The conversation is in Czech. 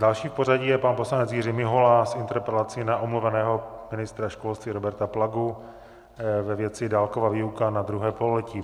Další v pořadí je pan poslanec Jiří Mihola s interpelací na omluveného ministra školství Roberta Plagu ve věci dálkové výuky na druhé pololetí.